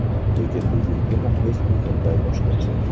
Lekin bugungi muxlis butunlay boshqacha.